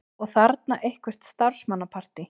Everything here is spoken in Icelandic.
Og þarna eitthvert starfsmannapartí.